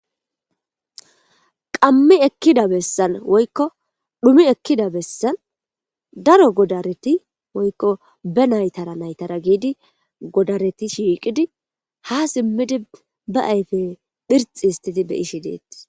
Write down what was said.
qammi ekkida bessan woykko dhumi ekkida bessan daro godareti woykko be naytara naytara giidi godareti shiiqidi ha simmidi ba ayfe phirxi histidi be7ishi deeti